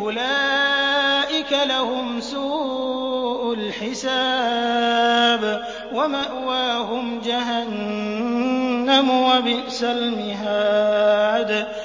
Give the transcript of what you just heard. أُولَٰئِكَ لَهُمْ سُوءُ الْحِسَابِ وَمَأْوَاهُمْ جَهَنَّمُ ۖ وَبِئْسَ الْمِهَادُ